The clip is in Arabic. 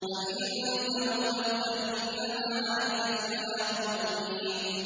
فَإِن تَوَلَّوْا فَإِنَّمَا عَلَيْكَ الْبَلَاغُ الْمُبِينُ